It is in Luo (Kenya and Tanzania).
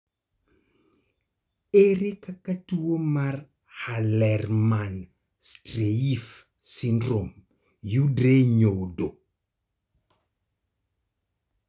Ere kaka tuo mar Hallermann Streiff syndrome yudore e nyodo?